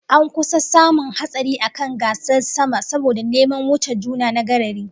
An kusa samun hatsari a kan gasar sama saboda neman wuce juna na garari